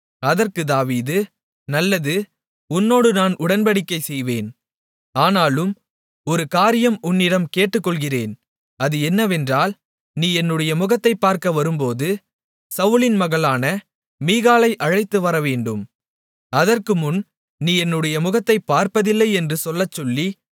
அதற்குத் தாவீது நல்லது உன்னோடு நான் உடன்படிக்கை செய்வேன் ஆனாலும் ஒரு காரியம் உன்னிடம் கேட்டுக்கொள்ளுகிறேன் அது என்னவென்றால் நீ என்னுடைய முகத்தைப் பார்க்க வரும்போது சவுலின் மகளான மீகாளை அழைத்து வரவேண்டும் அதற்குமுன் நீ என்னுடைய முகத்தைப் பார்ப்பதில்லை என்று சொல்லச்சொல்லி